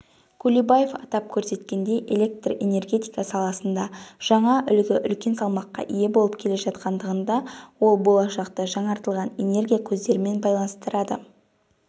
кулибаев атап көрсеткендей электр-энергетика саласында жаңа үлгі үлкен салмаққа ие болып келе жатқандығында ол болашақты жаңартылатын энергия көздерімен байланыстырады